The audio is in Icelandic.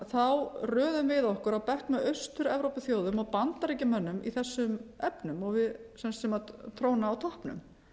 þá röðum við okkur á bekk með austur evrópuþjóðum og bandaríkjamönnum í þessum efnum sem tróna á toppnum